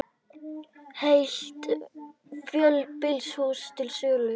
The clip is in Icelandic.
Heilt fjölbýlishús til sölu